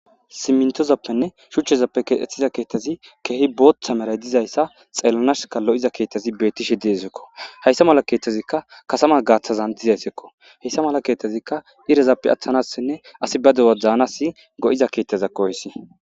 simmintozappenne shuchchezappe kexxethiza keettazi keehi booththa meray dizayssa xeellanashka lo7iza keethtazi beettishe deesekko hayssa mala keeththazikka kasama gaaththazan dizayssekko hayssa mala keetazikka irezappe athanassenne asi ba dewa daanasi go7iza keetazakko heys.